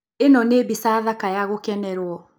ĩno nĩ mbica thaka ya gũkenerũo.